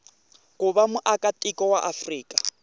ku va muakatiko wa afrika